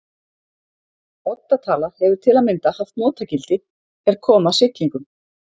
Odda tala hefur til að mynda haft notagildi er kom að siglingum.